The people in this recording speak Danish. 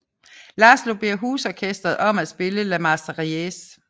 Laszlo beder husorkestret om at spille La Marseillaise